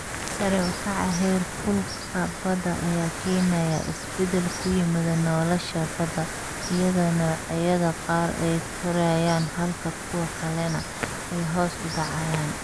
Sare u kaca heerkulka badda ayaa keenaya isbeddel ku yimaada nolosha badda, iyadoo noocyada qaar ay korayaan halka kuwa kalena ay hoos u dhacayaan.